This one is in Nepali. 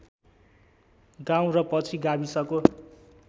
गाउँ र पछि गाविसको